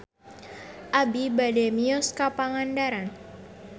Abi bade mios ka Pangandaran